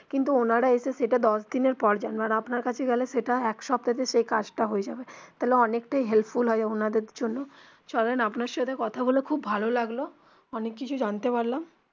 কিন্তু ওনারা এসে সেটা দশ দিনের পর জানবেন আর আপনার কাছে গেলে সেটা এক সপ্তাহেতে সেই কাজ টা হয়ে যাবে তাহলে অনেকটাই helpful হয় ওনাদের জন্য চলেন আপনার সাথে কথা বলে খুব ভালো লাগলো অনেক কিছু জানতে পারলাম.